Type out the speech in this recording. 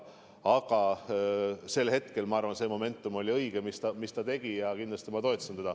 Aga sel hetkel oli see momentum õige, samuti see, mis ta tegi, ja mina toetasin teda.